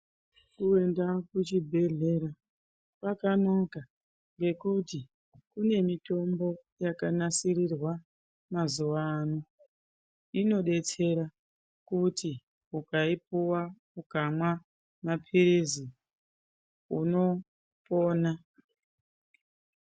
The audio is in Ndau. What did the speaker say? Kuenda kuchibhehleya kwakanaka ngekuti kunemitombo yakanasirirwa mazuwa ano inodetsera kuti ukaipuwa ukamwa mapilizi unopona.